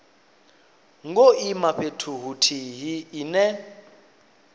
ngo ima fhethu huthihi ine